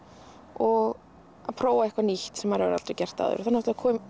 og að prófa eitthvað nýtt sem maður hefur ekki gert áður þá